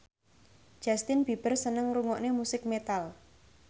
Justin Beiber seneng ngrungokne musik metal